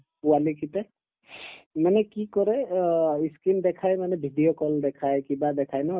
পোৱালিকেইটাই মানে কি কৰে অ ই screen দেখাই মানে video call দেখাই কিবা দেখাই ন